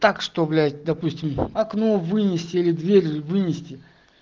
так что блять допустим окно вынести или дверь вынести